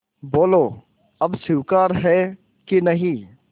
बोलो अब स्वीकार है कि नहीं